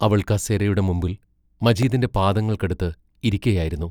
അവൾ കസേരയുടെ മുമ്പിൽ മജീദിന്റെ പാദങ്ങൾക്കടുത്ത് ഇരിക്കയായിരുന്നു.